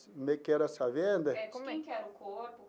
Que era essa venda? É, de quem que era o corpo?